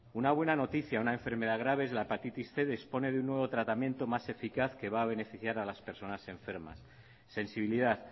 una buena noticia una enfermedad grave la hepatitis cien dispone de un nuevo tratamiento más eficaz que va a beneficiar a las personas enfermas sensibilidad